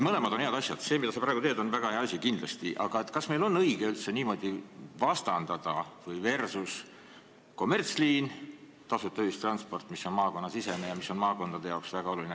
Mõlemad on head asjad – see, mida sa praegu teed, on väga hea asi kindlasti –, aga kas meil on õige üldse niimoodi vastandada, kommertsliin versus tasuta ühistransport, mis on maakonnasisene ja mis on maakondade jaoks väga oluline.